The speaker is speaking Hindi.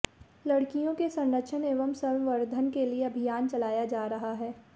लडकियों के संरक्षण एवं संवर्धन के लिये अभियान चलाया जा रहा है